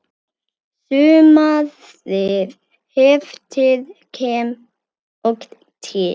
Sumarið eftir kem ég til